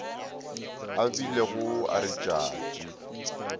a bilego a re tšatši